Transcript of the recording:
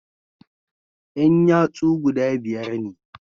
Yan yatsu guda biyar ne